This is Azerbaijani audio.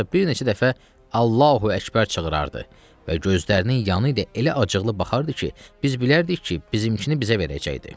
Ancaq bir neçə dəfə “Allahu əkbər” çığırardı və gözlərini yanı ilə elə acıqlı baxardı ki, biz bilərdik ki, bizimkini bizə verəcəkdir.